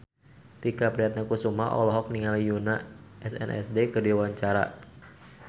Tike Priatnakusuma olohok ningali Yoona SNSD keur diwawancara